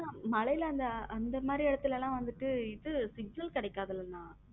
மழையில அந்த மாதிரி இடத்துல எல்லாம் வந்துட்டு signal கிடைக்காது இல்லன்னா.